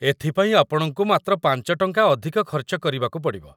ଏଥିପାଇଁ ଆପଣଙ୍କୁ ମାତ୍ର ୫ ଟଙ୍କା ଅଧିକ ଖର୍ଚ୍ଚ କରିବାକୁ ପଡ଼ିବ ।